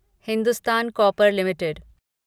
Hindustan copper limited